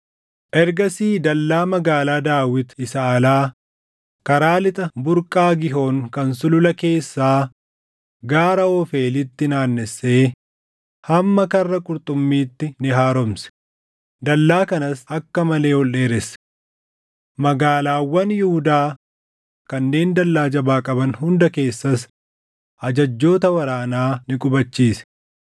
Ergasii dallaa Magaalaa Daawit isa alaa, karaa lixa burqaa Giihoon kan sulula keessaa gaara Oofeelitti naannessee hamma Karra Qurxummiitti ni haaromse; dallaa kanas akka malee ol dheeresse. Magaalaawwan Yihuudaa kanneen dallaa jabaa qaban hunda keessas ajajjoota waraanaa ni qubachiise.